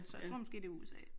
Så jeg tror måske det er USA